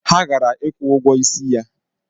Ha gara ịkwụ ụgwọ isi ya.